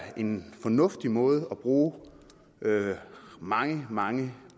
en fornuftig måde at bruge mange mange